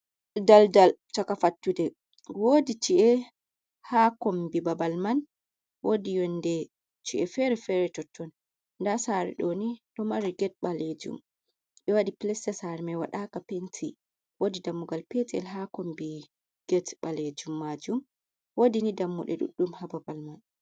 Daldal cha fttude wodi ci’e ha kombi babal man wodi yonde, ci’e fere fere totton ɗa sari doni ɗo mari gete ɓalejum ɓe wadi pleste sar mai wadaka penti wodi dammugal petel ha kombi get ɓalejum majum wodi ni dammuɗe ɗuɗɗum ha babal man.